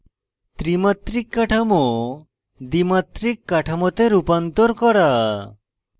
ত্রিমাত্রিক কাঠামো দ্বিমাত্রিক কাঠামোতে রূপান্তর করা